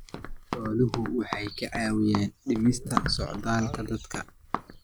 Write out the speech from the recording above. Xooluhu waxay caawiyaan dhimista socdaalka dadka.